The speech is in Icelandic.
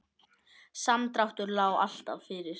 Samdráttur lá alltaf fyrir